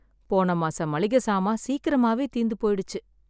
போன மாசம் மளிகை ஜமான் சீக்கிரமாவே தீர்ந்து போயிடுச்சு.